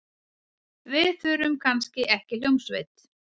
Við þurfum kannski ekki hljómsveit.